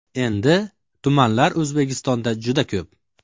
Endi, tumanlar O‘zbekistonda juda ko‘p.